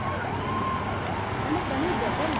અને કની હોભળ ને